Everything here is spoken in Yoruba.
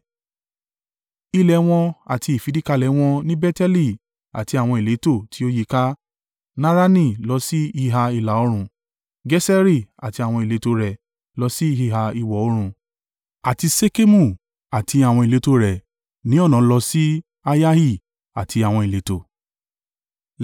Ilẹ̀ wọn àti ìfìdíkalẹ̀ wọn ni Beteli àti àwọn ìletò tí ó yíká, Narani lọ sí ìhà ìlà-oòrùn, Geseri àti àwọn ìletò rẹ̀ lọ sí ìhà ìwọ̀-oòrùn àti Ṣekemu àti àwọn ìletò rẹ̀ ní ọ̀nà lọ sí Ayahi àti àwọn ìletò.